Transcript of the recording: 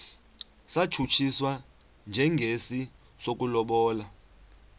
satshutshiswa njengesi sokulobola